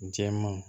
Jɛman